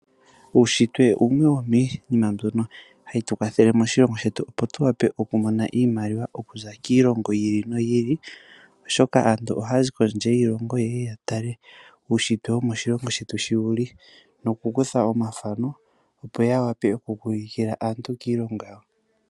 Uushitwe wumwe wo miinima mbyoka hayi vulu okutukwathela opo tu mone oshimaliwa okuza kiilongo yi ili noyi oshoka aantu ohaya zi kondje yiilongo yeye ya tale uushitwe woshilongo shetu sho wuli nokukutha omathano yo ya vule okuka ylukuka ulukila aantu kiilongo yawo.